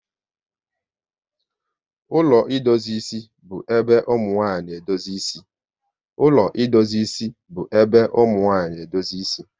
Ụlọ idozi isi bu ébé ụmụnwanyị na-edozi ịsị